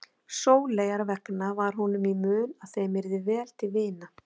Sóleyjar vegna var honum í mun að þeim yrði vel til vina.